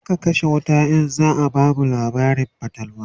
zaa kashe wuta in zaa bamu labarin fatalwa